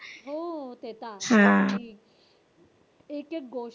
हो. ते तर आहेच. एक एक गोष्ट